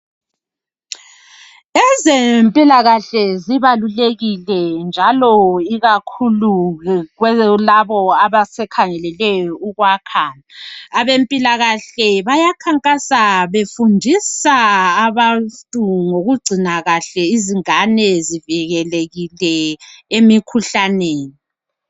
Ezempilakahle zibalulekile njalo ikakhulu kulabo abasikhangeleleyo ukwakha. Abampilakahle bayakhankasa befundisa abantu ngokugcina kahle izingane zivikelekile emikhuhlaneni.